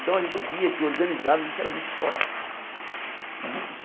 Então a gente via que, organizado, a gente era muito forte. E isso